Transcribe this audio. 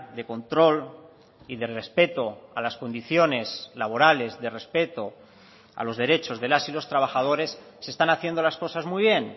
de control y de respeto a las condiciones laborales de respeto a los derechos de las y los trabajadores se están haciendo las cosas muy bien